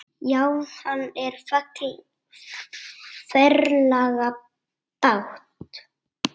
Já, hann á ferlega bágt.